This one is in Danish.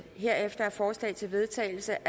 herefter er forslag til vedtagelse